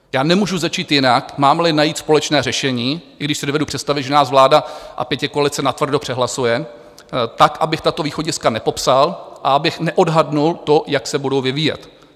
Já nemůžu začít jinak, mám-li najít společné řešení, i když si dovedu představit, že nás vláda a pětikoalice natvrdo přehlasuje, tak abych tato východiska nepopsal a abych neodhadl to, jak se budou vyvíjet.